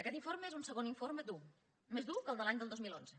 aquest informe és un segon informe dur més dur que el de l’any dos mil onze